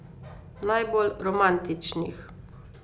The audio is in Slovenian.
Najbolj romantičnih.